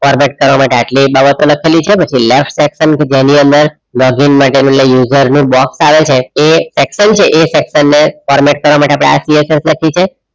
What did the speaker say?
format કરવા માટે આટલી બાબતો લખેલી છે. ત્યાર પછી last section જેની અંદર login માટે પેલું user નું box આવે છે એ section છે એ section ને format કરવા આ માટે આ PSS લખી છે.